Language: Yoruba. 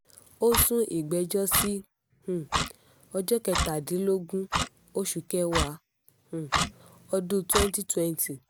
ó sún ìgbẹ́jọ́ sí um ọjọ́ kẹtàlélógún oṣù kẹwàá um ọdún twenty twenty